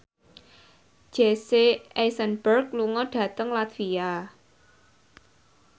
Jesse Eisenberg lunga dhateng latvia